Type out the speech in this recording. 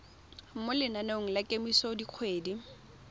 mo lenaneng la kemiso dikgwedi